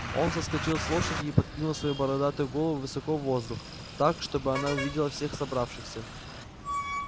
он соскочил с лошади и подкинул свою бородатую голову высоко в воздух так чтобы она увидела всех собравшихся